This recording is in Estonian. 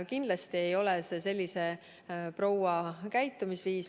Kindlasti ei ole see selle proua käitumisviis.